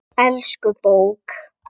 Elsku bók!